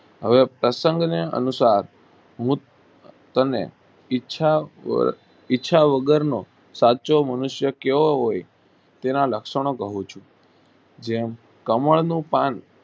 હવે પ્રસંગ ને અનુસાર હું તેને ઈચ્છા વગર નો સાચો મનુષ્યો કહેવો હોય તેવા લક્ષણો કહું છું જેમ કમળ નું પાન